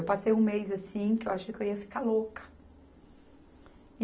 Eu passei um mês assim que eu achei que eu ia ficar louca.